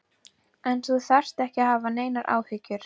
En þú þarft ekki að hafa neinar áhyggjur.